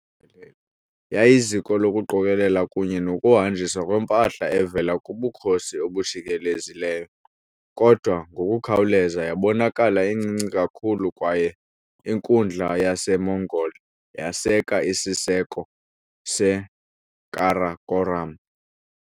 Yayiziko lokuqokelela kunye nokuhanjiswa kwempahla evela kubukhosi obujikelezileyo, kodwa ngokukhawuleza yabonakala incinci kakhulu kwaye inkundla yaseMongol yaseka isiseko seKarakorum.